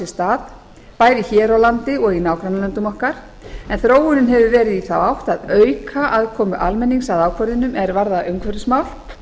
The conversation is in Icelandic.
stað bæði hér á landi og í nágrannalöndum okkar en þróunin hefur verið í þá átt að auka aðkomu almennings að ákvörðunum er varða umhverfismál